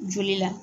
Joli la